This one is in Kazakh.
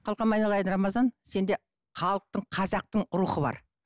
қалқам айналайын рамазан сенде халықтың қазақтың рухы бар